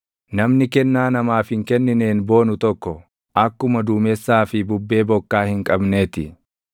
Namni kennaa namaaf hin kennineen boonu tokko akkuma duumessaa fi bubbee bokkaa hin qabnee ti.